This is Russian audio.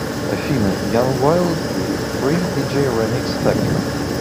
афина янг вайлд и фри диджей ремикс фэктори